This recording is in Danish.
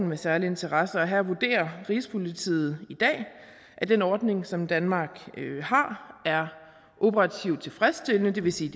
med særlig interesse og her vurderer rigspolitiet i dag at den ordning som danmark har er operativt tilfredsstillende det vil sige